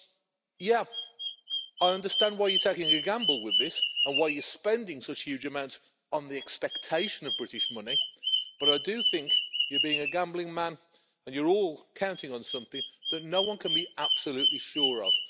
So yes, I understand why you're taking a gamble with this and why you're spending such huge amounts on the expectation of British money, but I do think you're being a gambling man and you're all counting on something that no one can be absolutely sure of.